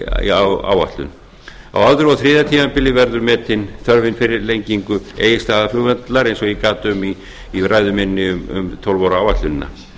í áætlun á öðru og þriðja tímabili verður metin þörfin fyrir lengingu egilsstaðaflugvallarflugvallar eins og ég gat um í ræðu minni um tólf ára áætlunina